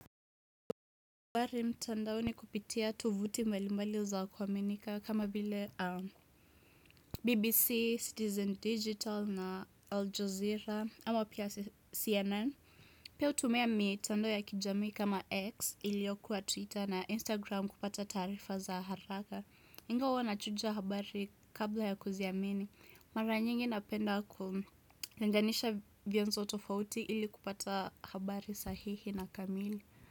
Habari mtandaoni kupitia tuvuti mbali mbali za kuwaminika kama vile BBC, Citizen Digital na Al Jazeera ama pia CNN Pia hutumia mitandao ya kijamii kama X ili iyokuwa Twitter na Instagram kupata taarifa za haraka. Ingawa huwa na chuja habari kabla ya kuziamini, mara nyingi napenda kulinganisha vianzo tofauti ili kupata habari sahihi na kamili.